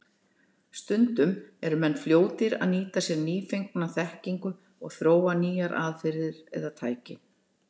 Stundum eru menn fljótir að nýta sér nýfengna þekkingu og þróa nýjar aðferðir eða tæki.